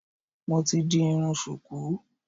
Mo ti di irun ṣùkú